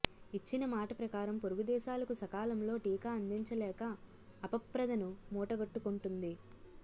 ఇచ్చిన మాట ప్రకారం పొరుగు దేశాలకు సకాలంలో టీకా అందించలేక అపప్రదను మూటగట్టుకుంటోంది